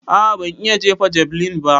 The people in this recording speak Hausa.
A'a ban iya jefa javeline ba.